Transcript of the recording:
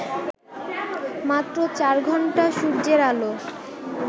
মাত্র চার ঘণ্টা সূর্যের আলো